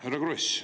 Härra Kross!